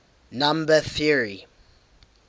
number theory